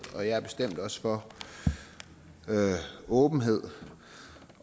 og jeg er bestemt også for åbenhed